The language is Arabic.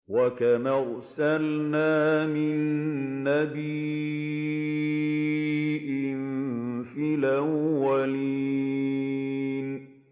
وَكَمْ أَرْسَلْنَا مِن نَّبِيٍّ فِي الْأَوَّلِينَ